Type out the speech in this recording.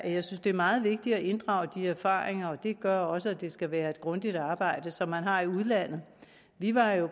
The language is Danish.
jeg synes det er meget vigtigt at inddrage de erfaringer og det gør også at det skal være et grundigt arbejde som man har i udlandet vi var jo